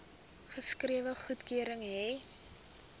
geskrewe goedkeuring hê